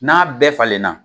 N'a bɛɛ falenna